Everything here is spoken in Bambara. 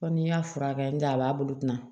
n'i y'a furakɛ nga a b'a bolo